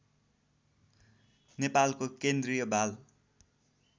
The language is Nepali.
नेपालको केन्द्रीय बाल